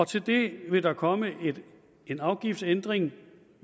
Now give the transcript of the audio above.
til det vil der komme en afgiftsændring